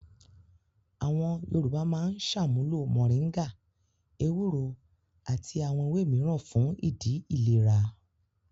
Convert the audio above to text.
Àwọn Yorùbá máa ń ṣàmúlò mòríngà, ewúro àti àwọn ewé mìíràn fún ìdí ìlèra.